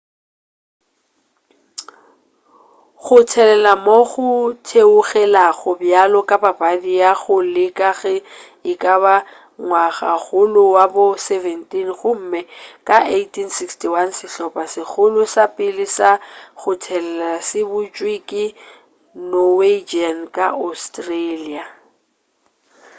go thelela moo go theogelago bjalo ka papadi go ya go le ge ekaba ngwagakgolo wa bo 17 gomme ka 1861 sehlopha segolo sa pele sa go thelela se butšwe ke norwegians ka australia